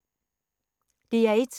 DR1